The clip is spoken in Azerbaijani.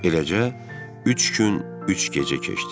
Eləcə üç gün, üç gecə keçdi.